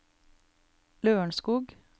Lørenskog